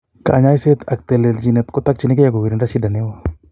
Kanyaiset ak telelchinet kotakchingee kugirinda shida neo